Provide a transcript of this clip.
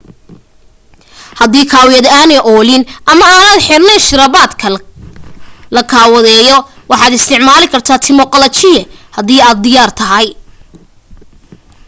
hadii kawiyad aanay oolin ama aanad xirnayn shirabadka la kawadeyo waxaad isticmaali kartaa timo qalajiye hadii ay diyaar tahay